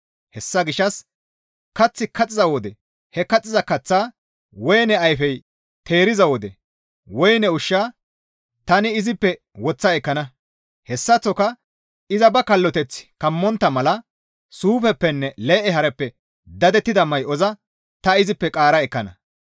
Hessa gishshas kaththi kaxxiza wode ha kaxxiza kaththaa, woyne ayfey teeriza wode woyne ushshaa, tani izippe woththa ekkana. Hessaththoka iza ba kalloteththa kammontta mala suufeppenne lee7e haareppe dadettida may7oza ta izippe qaara ekkana.